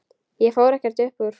Ég fór ekkert upp úr.